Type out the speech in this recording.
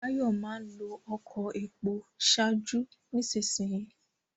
Báyọ̀ máa ń lo ọkọ epo ṣáájú nísinsìnyí